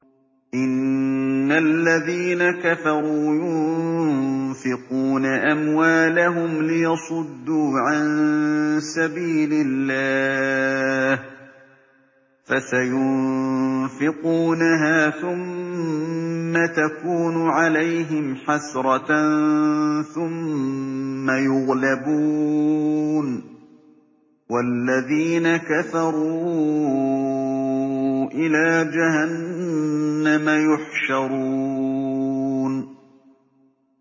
إِنَّ الَّذِينَ كَفَرُوا يُنفِقُونَ أَمْوَالَهُمْ لِيَصُدُّوا عَن سَبِيلِ اللَّهِ ۚ فَسَيُنفِقُونَهَا ثُمَّ تَكُونُ عَلَيْهِمْ حَسْرَةً ثُمَّ يُغْلَبُونَ ۗ وَالَّذِينَ كَفَرُوا إِلَىٰ جَهَنَّمَ يُحْشَرُونَ